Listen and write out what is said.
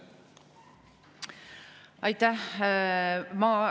Aitäh!